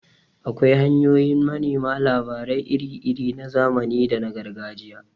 Akwai hanyoyin manema labarai iri-iri na zamani da na Gargajiya.